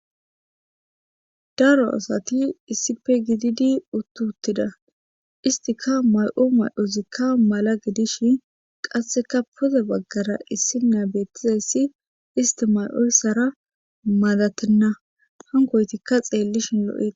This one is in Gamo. Daro asati issife gididi uttuttida istika may7o may7ozikka mala gidishin qasseka poze baggara issi na beettizayssi isti may7ossara madatenna hankoytikka xeellishin lo7ea.